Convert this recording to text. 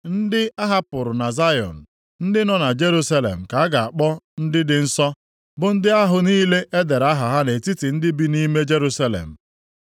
Ndị ahapụrụ na Zayọn, ndị nọ na Jerusalem ka a ga-akpọ ndị dị nsọ, bụ ndị ahụ niile e dere aha ha nʼetiti ndị bi nʼime Jerusalem.